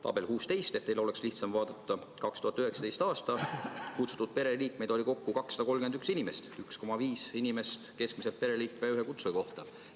Tabel 16 : 2019. aastal oli kutsutud pereliikmeid kokku 231 inimest, 1,5 inimest keskmiselt ühe kutsuja kohta.